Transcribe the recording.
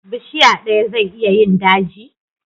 Bishiya daya zai iya yin daji?